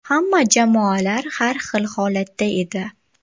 Hamma jamoalar har xil holatda edi.